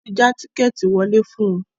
Wọ́n ti já tíkẹ́ẹ́tì ìwọlé fún wọn